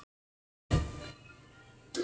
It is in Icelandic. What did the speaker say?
Hann var örlátur maður.